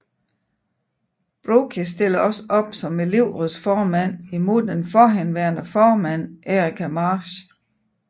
Brooke stiller også op som elevrådsformand imod den forhenværende formand Erica Marsh